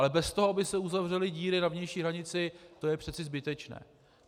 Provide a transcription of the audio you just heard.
Ale bez toho, aby se uzavřely díry na vnější hranici, to je přece zbytečné.